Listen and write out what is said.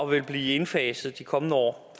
vil blive indfaset de kommende år